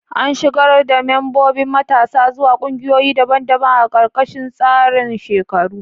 An shigar da membobin matasa zuwa ƙungiyoyi daban-daban a ƙarƙashin tsarin shekaru.